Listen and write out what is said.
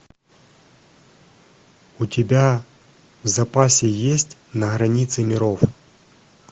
у тебя в запасе есть на границе миров